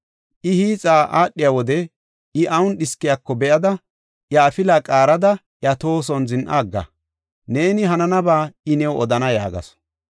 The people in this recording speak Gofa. I hiixa aadhiya wode I awun dhiskiyako be7ada, iya afila qaarada iya tohoson zin7a agga. Neeni hananaba I new odana” yaagasu.